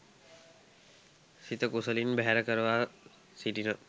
සිත කුසලින් බැහැර කරවා සිටින